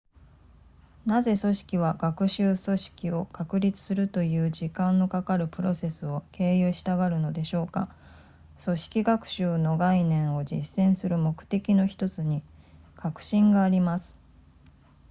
なぜ組織は学習組織を確立するという時間のかかるプロセスを経由したがるのでしょうか組織学習の概念を実践する目的の1つに革新があります